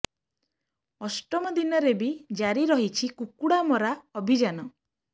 ଅଷ୍ଟମ ଦିନରେ ବି ଜାରି ରହିଛି କୁକୁଡା ମରା ଅଭିଯାନ